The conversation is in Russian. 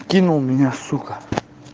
кинул меня сука